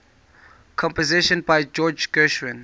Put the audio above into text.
compositions by george gershwin